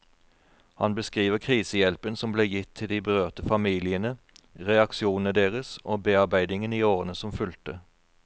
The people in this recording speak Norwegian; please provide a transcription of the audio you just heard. Han beskriver krisehjelpen som ble gitt til de berørte familiene, reaksjonene deres og bearbeidingen i årene som fulgte.